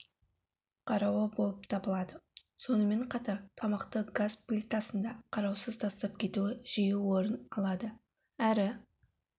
қарауы болып табылады сонымен қатар тамақты газ плитасында қараусыз тастап кетуі жиі орын алады ары